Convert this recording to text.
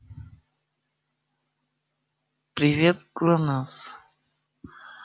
привет глонассс